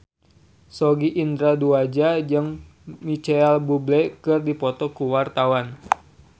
Sogi Indra Duaja jeung Micheal Bubble keur dipoto ku wartawan